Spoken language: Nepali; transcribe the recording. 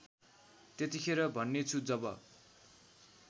त्यतिखेर भन्नेछु जब